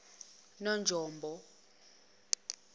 nonjombo